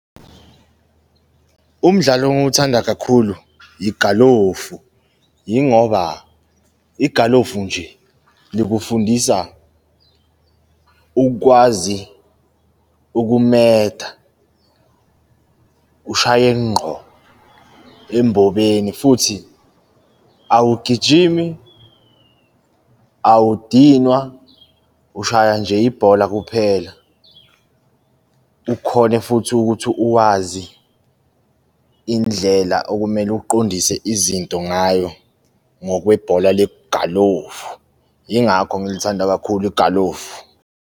Umdlalo engiwuthanda kakhulu, igalofu, yingoba igalofu nje likufundisa ukwazi ukumeda, ushaye ngqo embobeni futhi awugijimi, awudinwa, ushaya nje ibhola kuphela. ukhone futhi ukuthi uwazi indlela okumele uqondise izinto ngayo ngokwe bhola legalofu. Yingakho ngilithanda kakhulu igalofu.